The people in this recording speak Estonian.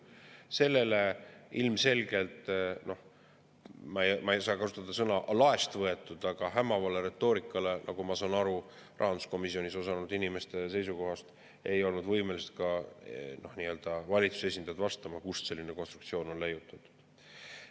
Noh, ma ei saa kasutada "laest võetud", aga sellele hämavale retoorikale, nagu ma saan aru rahanduskomisjonis osalenud inimeste seisukohast, ei olnud võimelised ka valitsuse esindajad vastama, kust selline konstruktsioon on leiutatud.